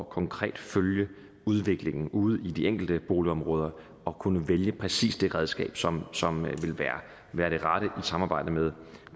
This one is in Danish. konkret at følge udviklingen ude i de enkelte boligområder og kunne vælge præcis det redskab som som vil være det rette i samarbejde med